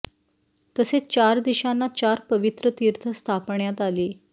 तसेच चार दिशांना चार पवित्र तीर्थ स्थापण्यात आली